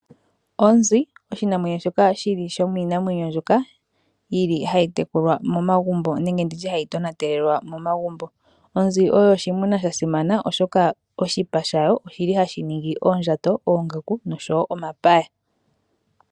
Onzi oshinamwenyo shoka shili shomiinamwenyo mbyoka yili hayi tekulwa momagumbo nenge nditye hayi tonatelelwa momagumbo. Onzi oyo oshimuna sha simana oshoka oshipa shayo oshili hashi ningi oondjato, oongaku noshowo omapaya.